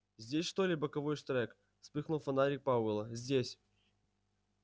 здесь что ли боковой штрек вспыхнул фонарик пауэлла здесь